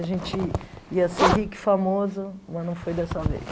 A gente ia ser rico e famoso, mas não foi dessa vez.